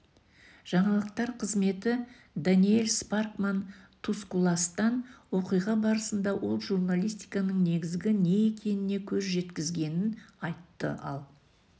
жаңалықтар қызметі даниэль спаркман тускуластан оқиға барысында ол журналистиканың негізі не екеніне көз жеткізгенін айтты ал